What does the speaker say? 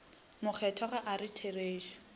makgethwa ga a re therešo